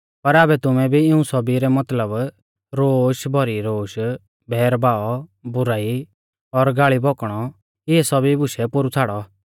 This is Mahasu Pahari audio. पर आबै तुमै भी इऊं सौभी रै मतलब रोश भौरी रोश बैर भाव बुराई और गाल़ी भौकणौ इऐ सौभी बुशै पोरु छ़ाड़ौ